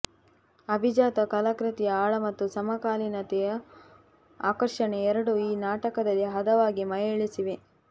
ಅಭಿಜಾತ ಕಲಾಕೃತಿಯ ಆಳ ಮತ್ತು ಸಮಕಾಲೀನತೆಯ ಆಕರ್ಷಣೆ ಎರಡೂ ಈ ನಾಟಕದಲ್ಲಿ ಹದವಾಗಿ ಮೆಳೈಸಿವೆ